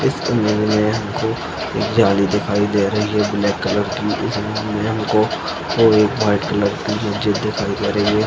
इसमे हमको एक जाली दिखाई दे रही है ब्लैक कलर की इसमे हमको दो व्हाइट कलर की --]